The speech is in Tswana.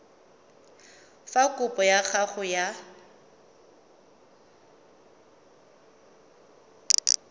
fa kopo ya gago ya